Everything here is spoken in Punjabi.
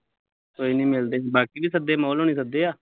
ਕੋਈ ਨੀ ਮਿਲਦੇ, ਬਾਕੀ ਵੀ ਸੱਦੇ ਮੋਲ ਹੁਣੀ ਸੱਦੇ ਆ